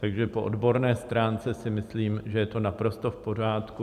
Takže po odborné stránce si myslím, že je to naprosto v pořádku.